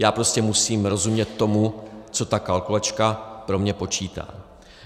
Já prostě musím rozumět tomu, co ta kalkulačka pro mě počítá.